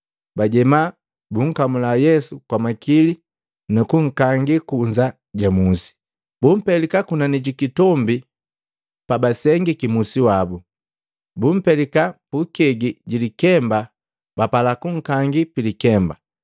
Bajema, bunkamula Yesu kwa makili nunkangi kunza ja musi, bumpelika kunani jikitombi pabasengiki musi wabu. Bumpelika pukegi jilikemba bapala bunkangila pilikemba,